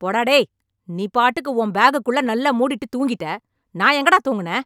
போடா டேய்... நீ பாட்டுக்கு உன் பேக்குக்குள்ளே நல்லா மூடிட்டு தூங்கிட்டே... நான் எங்கடா தூங்குனேன்..